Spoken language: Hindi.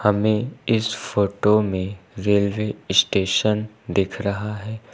हमें इस फोटो में रेलवे स्टेशन दिख रहा है।